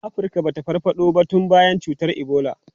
Afirka ba ta farfado ba tun bayan cutar Ebola.